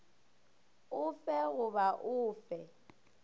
o fe goba o fe